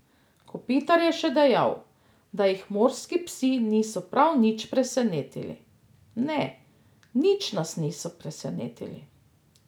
Kopitar je še dejal, da jih morski psi niso prav nič presenetili: "Ne, nič nas niso presenetili.